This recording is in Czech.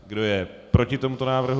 Kdo je proti tomuto návrhu?